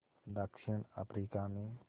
दक्षिण अफ्रीका में